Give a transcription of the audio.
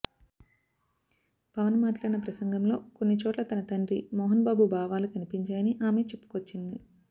పవన్ మాట్లాడిన ప్రసంగంలో కొన్ని చోట్ల తన తండ్రి మోహన్ బాబు బావాలు కనిపించాయని ఆమె చెప్పుకొచ్చింది